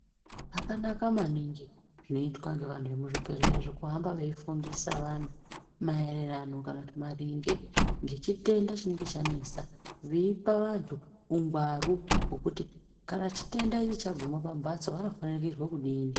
Zvakanaka maningi zvinoitwa ngevantu vemuzvibhedhlera zvekuhamba veifundisa vantu maererano kana kuti maringe ngechitenda chinenge chanesa. Veipa vantu ungwaru hwokuti kana chitenda ichi chaguma pambatso vanofanikirwa kudini.